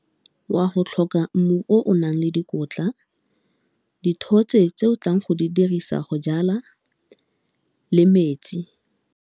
Wa go tlhoka mmu o o nang le dikotla, dithotse tse o tlang go di dirisa go jala, le metsi.